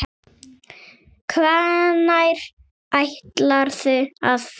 Hvenær ætlarðu að fara?